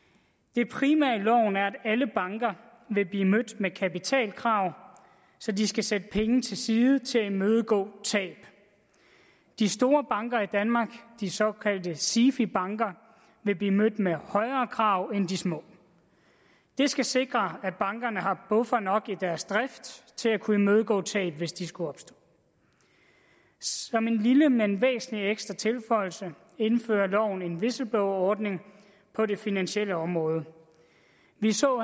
det primære i loven er at alle banker vil blive mødt med kapitalkrav så de skal sætte penge til side til at imødegå tab de store banker i danmark de såkaldte sifi banker vil blive mødt med højere krav end de små det skal sikre at bankerne har buffer nok i deres drift til at kunne imødegå tab hvis de skulle opstå som en lille men væsentlig ekstra tilføjelse indfører loven en whistleblowerordning på det finansielle område vi så